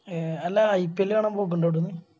A അല്ല IPL കാണാൻ പൊക്കിണ്ടോ അവിടുന്ന്